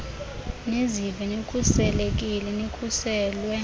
nizive nikhuselekile nikhuselwe